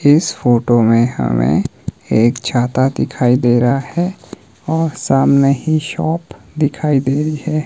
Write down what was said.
इस फोटो में हमें एक छाता दिखाई दे रहा है और सामने ही शॉप दिखाई दे रही है।